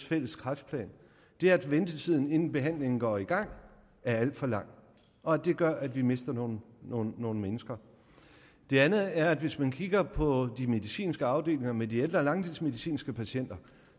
fælles kræftplan er at ventetiden inden behandlingen går i gang er alt for lang og at det gør at vi mister nogle nogle mennesker det andet er at hvis man kigger på de medicinske afdelinger med de ældre langtidsmedicinske patienter